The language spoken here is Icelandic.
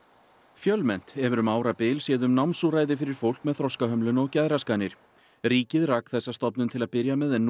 fjölmennt hefur um árabil séð um námsúrræði fyrir fólk með þroskahömlun og geðraskanir ríkið rak þessa stofnun til að byrja með en nú